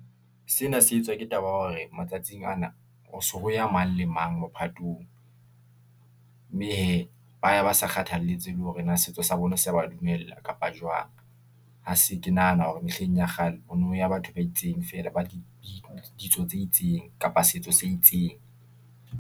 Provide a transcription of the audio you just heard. Sena se etswa ke taba ya hore matsatsing ana, ho so ho ya mang le mang mophatong , mme hee, ba ya ba sa kgathaletsehe hore na setso sa bona se ba dumella kapa jwang. Ha se ke nahana hore mehleng ya kgale, ho no ya batho ba itseng feela ba ditso tse itseng kapa setso se itseng.